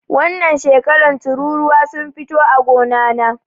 Wannan shekaran tururuwa sun fito a gona na